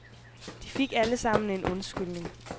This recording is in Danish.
De fik alle sammen en undskyldning.